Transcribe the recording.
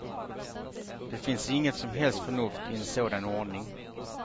Det finns inget som helst förnuft i en sådan ordning.